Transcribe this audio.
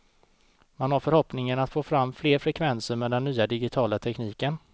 Man har förhoppningen att få fram fler frekvenser med den nya digitala tekniken.